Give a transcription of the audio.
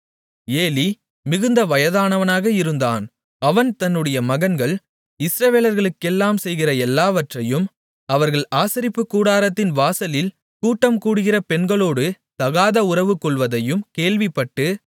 Eli மிகுந்த வயதானவனாக இருந்தான் அவன் தன்னுடைய மகன்கள் இஸ்ரவேலர்களுக்கெல்லாம் செய்கிற எல்லாவற்றையும் அவர்கள் ஆசரிப்புக் கூடாரத்தின் வாசலில் கூட்டம் கூடுகிற பெண்களோடு தகாதஉறவு கொள்வதையும் கேள்விப்பட்டு